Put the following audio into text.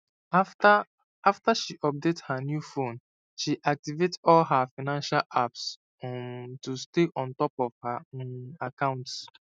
after after she update her new phone she activate all her financial apps um to stay on top of her um accounts